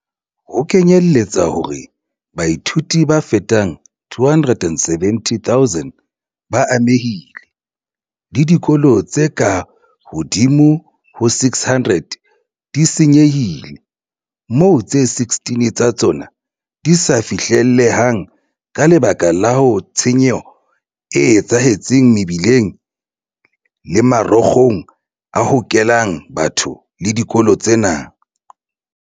Ho lekanyetswa hore baithuti ba fetang 270 000 ba amehile, le dikolo tse ka hodimo ho 600 di se nyehile, moo tse 16 tsa tsona di sa fihlelleheng ka lebaka la tshenyo e etsahetseng mebileng le marokgong a hokelang batho le dikolo tsena.